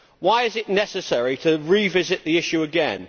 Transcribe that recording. Why is it necessary to revisit the issue again?